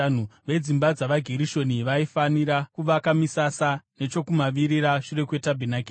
Vedzimba dzavaGerishoni vaifanira kuvaka misasa nechokumavirira, shure kwetabhenakeri.